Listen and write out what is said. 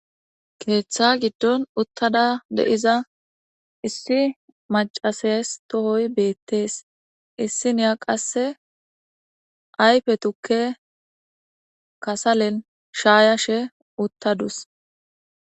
Ketha gidon utada de'iza issi mac'ases tohoy betes issiniya qase ayfe tuke kasalen shayashe utadus.